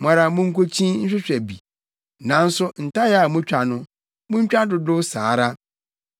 Mo ara munkokyin nhwehwɛ bi, nanso ntayaa a mutwa no, muntwa dodow saa ara.”